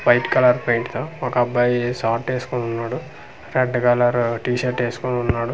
White colour paint తో ఓకబ్బాయి short ఎస్కొని వున్నాడు రెడ్ కలర్ టీ-షర్ట్ ఏస్కోని వున్నాడు.